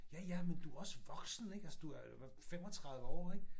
Ja ja men du også voksen ikke altså du er hvad 35 år ikke